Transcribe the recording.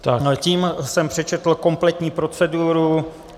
Tím jsem přečetl kompletní proceduru.